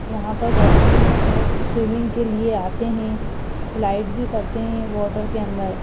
यहां पर गर्मियों में लोग स्विमिंग के लिए आते हैं स्लाइड भी करते हैं वाटर के अंदर--